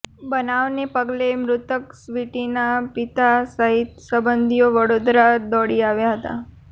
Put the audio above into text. બનાવને પગલે મૃતક સ્વીટીના પિતા સહિતના સંબંધીઓ વડોદરા દોડી આવ્યા હતા